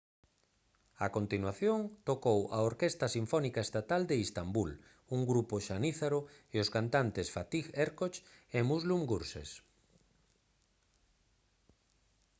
a continuación tocou a orquestra sinfónica estatal de istambul un grupo xanízaro e os cantantes fatih erkoç e müslüm gürses